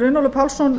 runólfur pálsson